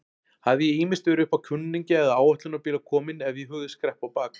Hafði ég ýmist verið uppá kunningja eða áætlunarbíla kominn ef ég hugðist skreppa á bak.